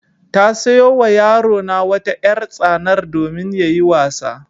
Ta sayo wa yarona wata ƴar-tsanar domin yayi wasa.